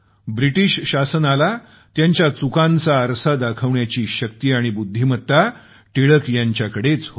British शासनाला त्यांच्या चुकांचा आरसा दाखवण्याची शक्ती आणि बुद्धिमत्ता टिळक यांच्याकडेच होती